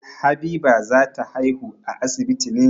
Habiba za ta haihu a asibiti ne.